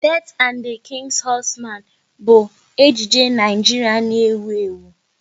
"Death and the King's Horseman" bụ ejije Naijiria na-ewu ewu